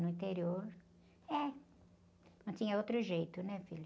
No interior, é. Não tinha outro jeito, né, filho?